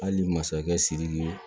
Hali masakɛ sidiki